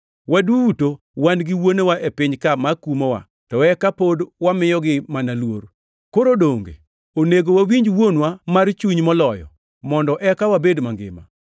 Waduto wan gi wuonewa e piny ka ma kumowa to eka pod wamiyogi mana luor. Koro donge onego wawinj Wuonwa mar chuny moloyo, mondo eka wabed mangima?